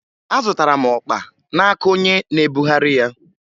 Azụtara m ọkpa n'aka onye na-ebugheri ya